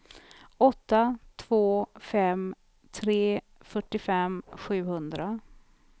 åtta två fem tre fyrtiofem sjuhundra